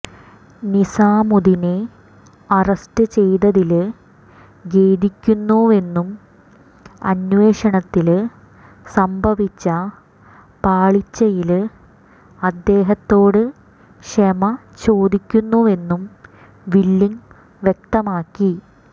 നിസാമുദ്ദീനെ arrest ചെയ്തതില് ഖേദിക്കുന്നുവെന്നും അന്വേഷണത്തില് സംഭവിച്ച പാളിച്ചയില് അദ്ദേഹത്തോട് ക്ഷമ ചോദിക്കുന്നുവെന്നും വില്ലിങ് വ്യക്തമാക്കി